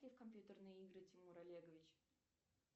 в компьютерные игры тимур олегович